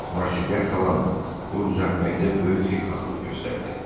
Marselyak xalan pulu düzəltməkdə böyük xeyirxahlıq göstərdi.